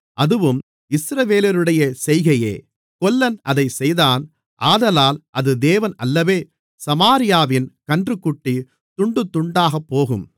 அதுவும் இஸ்ரவேலருடைய செய்கையே கொல்லன் அதைச் செய்தான் ஆதலால் அது தேவன் அல்லவே சமாரியாவின் கன்றுக்குட்டி துண்டுதுண்டாகப்போகும்